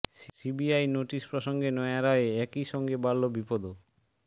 CBI notice প্রসঙ্গে নয়া রায়ে একই সঙ্গে বাড়ল বিপদও